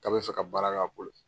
K'a bɛ fɛ ka baara k'a bolo.